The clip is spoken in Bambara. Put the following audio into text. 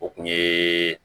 O kun ye